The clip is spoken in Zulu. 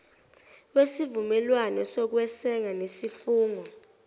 wesivumelwane sokweseka nesifungo